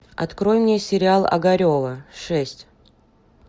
открой мне сериал огарева шесть